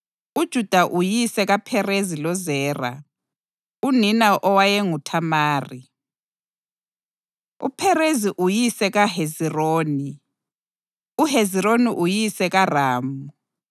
uJuda uyise kaPherezi loZera, unina owayenguThamari, uPherezi uyise kaHezironi, uHezironi uyise kaRamu,